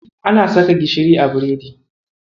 Ana saka gishiri a biredi.